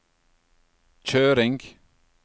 kjøring